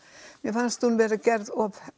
mér fannst hún vera gerð of